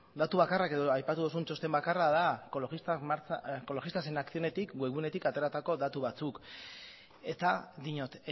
datu bakarrak edo aipatu dozun txosten bakarra da ecologistas en acción etik web gunetik ateratako datu batzuk eta diot